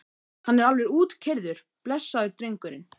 Hann er alveg útkeyrður blessaður drengurinn.